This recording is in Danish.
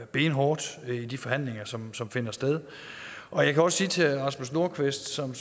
benhårdt i de forhandlinger som som finder sted og jeg kan også sige til herre rasmus nordqvist som